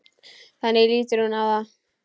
Þannig lítur hún á það.